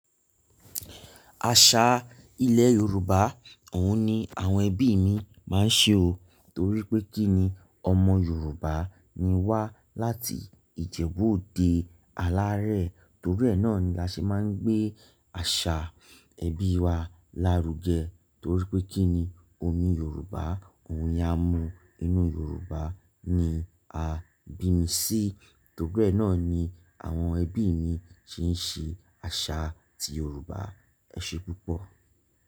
Àṣà ilẹ̀ Yorùbá, òun ni àwọn ẹbí mi máa ń ṣe o. Torí pé kí ni ọmọ Yorùbá ni wá láti Ìjẹ̀bú òde Alárẹ̀. Torí ẹ náà ni a ṣe máa ń gbé àṣà ẹbí wa lárugẹ. Torí pé kí ni omi Yorùbá, ohun ni a mu inú Yorùbá ni a bí mi sí. Torí ẹ náà ni àwọn ẹbí mi ṣe ń ṣe àṣà ti Yorùbá. Ẹ ṣe púpọ̀.